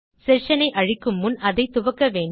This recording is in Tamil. செஷன் ஐ அழிக்கும் முன் அதை துவக்க வேண்டும்